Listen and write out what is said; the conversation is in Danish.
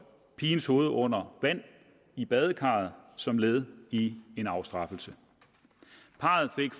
pigens hoved under vand i badekarret som led i sin afstraffelse parret fik